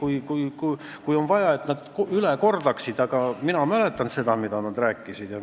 Andke teada, kui on vaja, et nad selle üle kordaksid, aga mina mäletan, mida nad rääkisid.